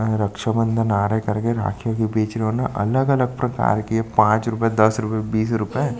आ रक्षा बंधन आ रहा है करके राखियाँ भी बेच रहे हों ना अलग-अलग प्रकार के पांच रुपए दस रुपए बीस रुपए--